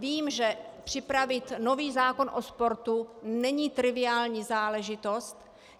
Vím, že připravit nový zákon o sportu není triviální záležitost.